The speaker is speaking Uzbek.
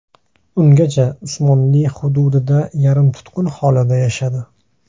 Ungacha Usmonli hududida yarim-tutqun holida yashadi.